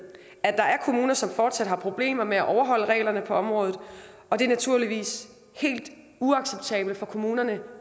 er kommuner som fortsat har problemer med at overholde reglerne på området og det er naturligvis helt uacceptabelt for kommunerne